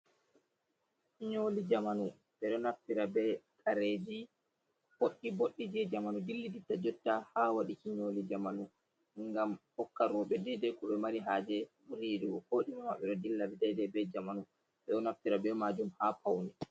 Nyoli jamanu bedo naffira be kareji boddi’’boddi je jamanu dilli ditta jotta ha wadi ki nyoli jamanu gam hokka rowbe dedei ko be mari haje be buri yidugo kodime mabbe do dilla be jamanu bedo naffira be majum ha paune.